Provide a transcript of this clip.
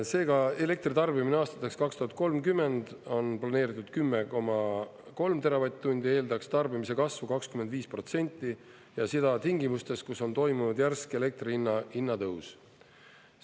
Seega elektri tarbimine aastaks 2030 on planeeritud 10,3 teravatt-tundi, eeldaks tarbimise kasvu 25% ja seda tingimustes, kus on toimunud järsk elektri hinna tõus.